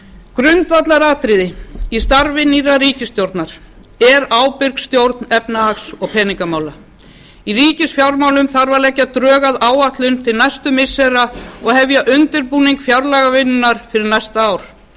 grundvallaratriði í starfi nýrrar ríkisstjórnar er ábyrg stjórn efnahags og peningamála í ríkisfjármálum þarf að leggja drög að áætlun til næstu missira og hefja undirbúning fjárlagavinnunnar fyrir næstu ár